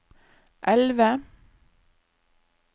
elve